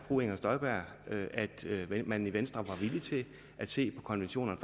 fru inger støjberg at at man i venstre var villig til at se på konventionerne